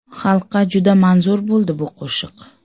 Xalqqa juda manzur bo‘ldi bu qo‘shiq.